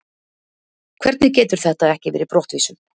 Hvernig getur þetta ekki verið brottvísun?